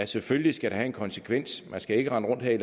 selvfølgelig skal have en konsekvens man skal ikke rende rundt her